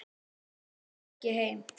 Svo rauk ég heim.